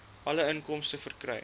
alle inkomste verkry